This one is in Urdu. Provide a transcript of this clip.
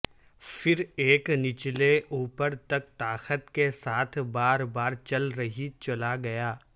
پھر ایک نچلے اپورتک طاقت کے ساتھ بار بار چل رہی چلا گیا